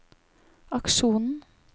aksjonen